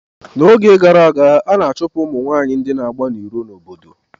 N'oge gara aga a na-achụpụ ụmụ nwanyị ndị na-agba n'iro n'obodo